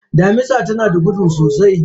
Mamisa tanada gudu sosai.